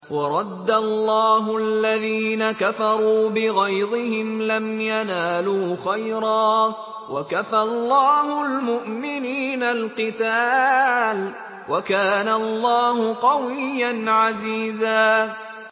وَرَدَّ اللَّهُ الَّذِينَ كَفَرُوا بِغَيْظِهِمْ لَمْ يَنَالُوا خَيْرًا ۚ وَكَفَى اللَّهُ الْمُؤْمِنِينَ الْقِتَالَ ۚ وَكَانَ اللَّهُ قَوِيًّا عَزِيزًا